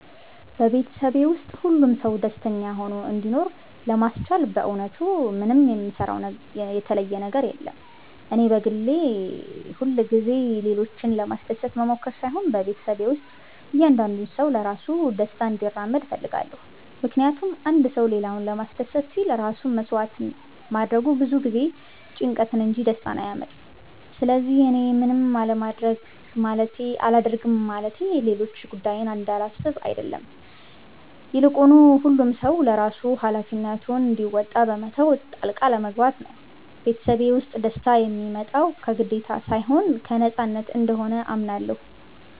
በቤተሰቤ ውስጥ ሁሉም ሰው ደስተኛ ሆኖ እንዲኖር ለማስቻል በእውነቱ ምንም የምሰራው የተለየ ነገር የለም። እኔ በግሌ ሁልጊዜ ሌሎችን ለማስደሰት መሞከር ሳይሆን በቤተሰቤ ውስጥ እያንዳንዱ ሰው ለራሱ ደስታ እንዲራመድ እፈልጋለሁ። ምክንያቱም አንድ ሰው ሌላውን ለማስደሰት ሲል ራሱን መሥዋዕት ማድረጉ ብዙ ጊዜ ጭንቀትን እንጂ ደስታን አያመጣም። ስለዚህ እኔ ምንም አላደርግም ማለቴ ሌሎች ጉዳዬን እንደማላስብ አይደለም፤ ይልቁኑ ሁሉም ሰው ለራሱ ሃላፊነቱን እንዲወጣ በመተው ጣልቃ አለመግባት ነው። ቤተሰቤ ውስጥ ደስታ የሚመጣው ከግዴታ ሳይሆን ከነፃነት እንደሆነ አምናለሁ።